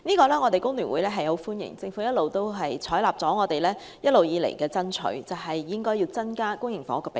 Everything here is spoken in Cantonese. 香港工會聯合會歡迎政府採納我們一直以來爭取增加公營房屋的比例。